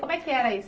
Como é que era isso?